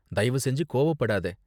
தயவு செஞ்சு கோவப்படாத.